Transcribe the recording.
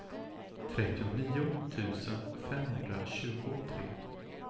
trettionio tusen femhundratjugotre